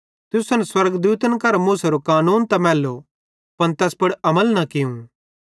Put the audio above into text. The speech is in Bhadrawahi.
तुसन स्वर्गदूतन करां मूसेरे कानून त मैल्लो पन तैस पुड़ अमल न कियूं